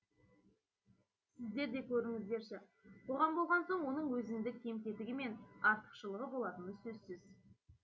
сіздер де көріңіздерші қоғам болған соң оның өзіндік кем кетігі мен артықшылығы болатыны сөзсіз